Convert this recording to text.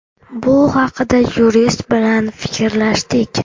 Bu haqida yurist bilan fikrlashdik.